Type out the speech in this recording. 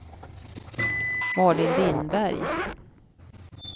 Malin Lindberg